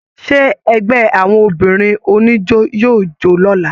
Ṣe ẹgbẹ àwọn obìnrin oníjó yóò jo l'ọla?.